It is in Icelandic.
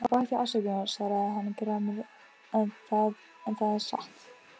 Ég bað þig afsökunar, svaraði hann gramur,-en það er satt.